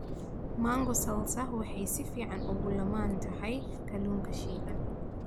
Mango salsa waxay si fiican ugu lammaan tahay kalluunka shiilan.